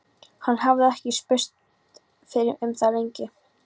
Hann hafði ekki spurst fyrir um það lengi.